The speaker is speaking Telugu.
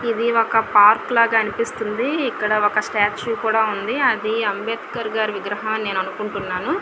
ఇది ఒక పార్క్ లాగా అనిపిస్తుంది ఇక్కడ ఒక స్టాచు కూడా వుంది అది అంబేద్కర్ గారి విగ్రహం అని నేను అనుకొంటున్నాను.